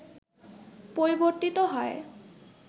পরিবর্তিত হয়